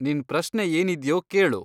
ನಿನ್ ಪ್ರಶ್ನೆ ಏನಿದ್ಯೋ ಕೇಳು.